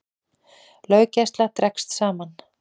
Löggæsla dregst saman